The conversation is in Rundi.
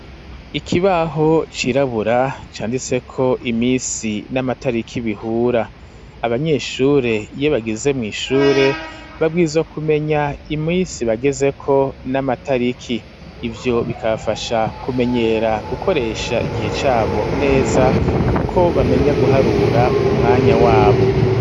Ikibaho cirabura, canditseko iminsi n'amatariki bihura, abanyeshure iyo bageze mw'ishure, babwirizwa kumenya iminsi bagezeko n'amatariki; ivyo bikabafasha kumenyera gukoresha igihe cabo neza, kuko bamenya guharura umwanya wabo.